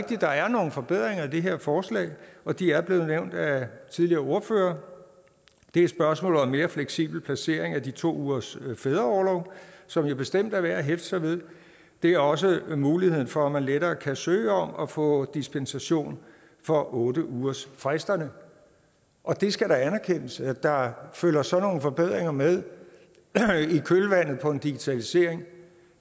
der er nogle forbedringer i det her forslag og de er blevet nævnt af tidligere ordførere det er spørgsmålet om en mere fleksibel placering af de to ugers fædreorlov som jo bestemt er værd at hæfte sig ved det er også muligheden for at man lettere kan søge om at få dispensation fra otte ugersfristerne og det skal da anerkendes at der følger sådan nogle forbedringer med i kølvandet på en digitalisering